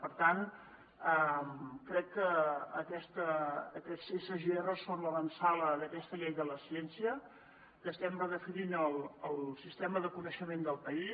per tant crec que aquests sgr són l’avantsala d’aquesta llei de la ciència que estem redefinint el sistema de coneixement del país